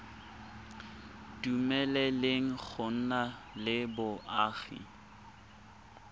dumeleleng go nna le boagi